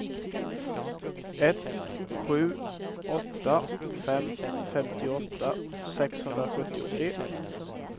ett sju åtta fem femtioåtta sexhundrasjuttiotre